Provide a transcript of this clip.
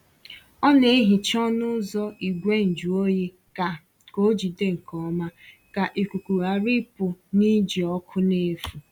Ọ na-ehicha ọnụ ụzọ igwe njụ oyi ka ka ọ jide nke ọma, ka ikuku ghara ịpụ na iji ọkụ n’efu.